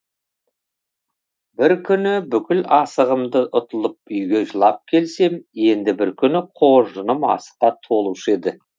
бір күні бүкіл асығымды ұтылып үйге жылап келсем енді бір күні қоржыным асыққа толушы еді